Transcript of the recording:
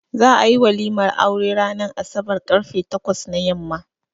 Za ayi walimar aure ranan asabar karfe takwas na yamma